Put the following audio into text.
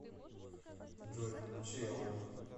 джой включи аов